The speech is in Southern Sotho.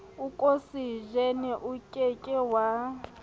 okosejene o ke ke wa